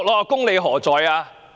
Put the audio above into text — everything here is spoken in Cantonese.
公理何在？